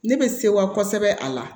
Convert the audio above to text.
Ne bɛ sewa kosɛbɛ a la